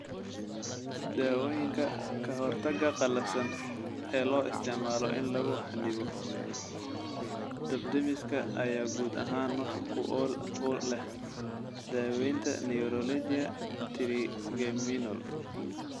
Dawooyinka ka hortagga qallafsan ee loo isticmaalo in lagu xannibo dab-demiska ayaa guud ahaan wax ku ool u leh daawaynta neuralgia trigeminal.